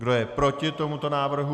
Kdo je proti tomuto návrhu?